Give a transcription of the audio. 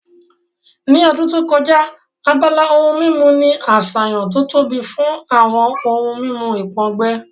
Ní ọdún tó kọjá, abala ohun mímu ní àṣàyàn tó tóbi fún àwọn ohun mímu ìpòǹgbẹ